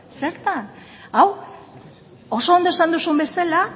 zertan hau oso ondo esan duzun bezala